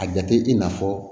A jate i n'a fɔ